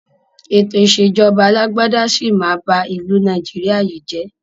Ètò ìsèjọba alàgbàda sì máa bá ìlú Nàìjíríà yìí jé.